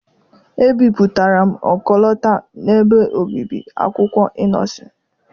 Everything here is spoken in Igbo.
Ebipụtara m ọkọlọtọ n’ebe obibi akwụkwọ Ị́nnosịn.